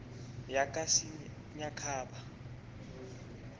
yakasinyikhaba